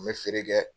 N bɛ feere kɛ